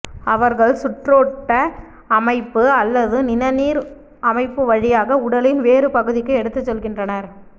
அவர்கள் சுற்றோட்ட அமைப்பு அல்லது நிணநீர் அமைப்பு வழியாக உடலின் வேறு பகுதிக்கு எடுத்துச் செல்கின்றனர்